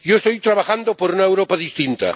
Yo estoy trabajando por una Europa distinta